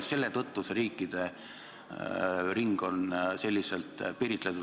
Selle tõttu on see riikide ring selliselt piiritletud.